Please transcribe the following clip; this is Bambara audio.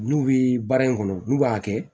N'u bɛ baara in kɔnɔ n'u b'a kɛ